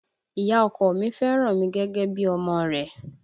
Ìyá ọkọ mi fẹ́ràn mi gẹ́gẹ́ bí i ọmọ rẹ̀